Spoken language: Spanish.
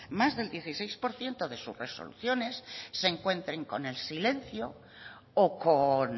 más del dieciséis por ciento de sus resoluciones se encuentren con el silencio o con